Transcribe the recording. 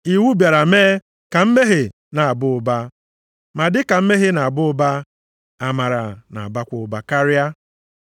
Iwu bịara mee ka mmehie na-aba ụba, ma dịka mmehie na-aba ụba, amara na-abakwa ụba karịa.